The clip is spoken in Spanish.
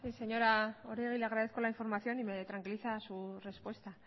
sí señora oregi le agradezco la información y me tranquiliza su respuesta